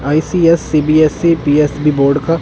ICS CBSE PSB board का--